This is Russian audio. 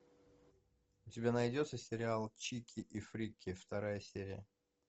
у тебя найдется сериал чики и фрики вторая серия